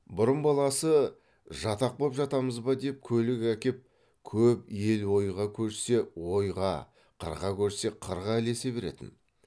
бұрын баласы жатақ боп жатамыз ба деп көлік әкеп көп ел ойға көшсе ойға қырға көшсе қырға ілесе беретін